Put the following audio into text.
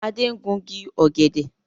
Adé ń gungi ọ̀gẹ̀dẹ̀